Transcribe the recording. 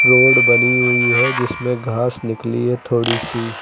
Road बनी हुई है जिसमें घास निकली है थोड़ी सी।